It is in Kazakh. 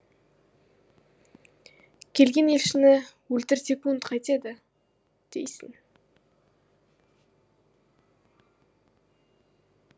келген елшіні өлтір секунд қайтеді дейсің